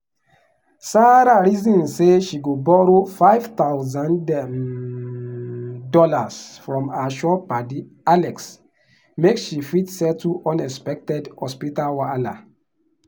sarah reason say she go borrow five thousand um dollars from her sure padi alex make she fit settle unexpected hospital wahala.